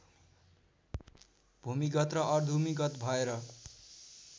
भूमिगत र अर्धूमिगत भएर